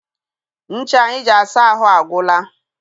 Ncha anyị ji asa ahụ agwụla.